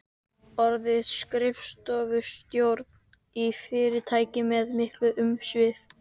Orðin skrifstofustjóri í fyrirtæki með mikil umsvif.